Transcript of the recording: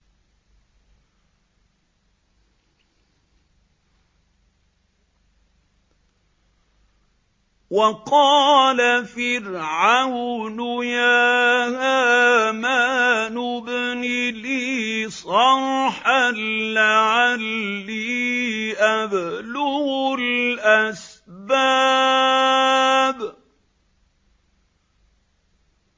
وَقَالَ فِرْعَوْنُ يَا هَامَانُ ابْنِ لِي صَرْحًا لَّعَلِّي أَبْلُغُ الْأَسْبَابَ